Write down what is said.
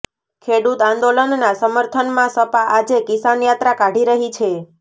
ખેડૂત આંદોલનના સમર્થનમાં સપા આજે કિસાન યાત્રા કાઢી રહી છે